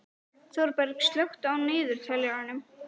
Þorberg, slökktu á niðurteljaranum.